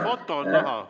Foto on näha.